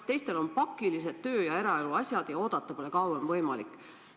Teistel on pakilised töö- ja eraeluasjad ning oodata pole kauem võimalik.